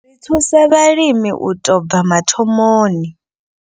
Ri thusa vhalimi u tou bva mathomoni.